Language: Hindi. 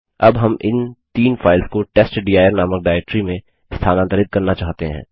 अब हम इन तीन फाइल्स को टेस्टडिर नामक डाइरेक्टरी में स्थानांतरित करना चाहते हैं